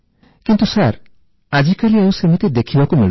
କିନ୍ତୁ ସାର୍ ଆଜିକାଲି ଆଉ ସେମିତି ଦେଖିବାକୁ ମିଳୁନି